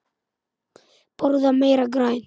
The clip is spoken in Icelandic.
Borða meira grænt.